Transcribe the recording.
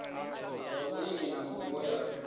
zwa vhulimi na mvumbo ya